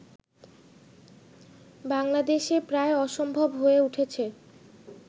বাংলাদেশে প্রায় অসম্ভব হয়ে উঠেছে